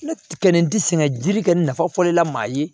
Ne kɛlen ti sɛgɛn jiri kɛ nafa fɔ la maa ye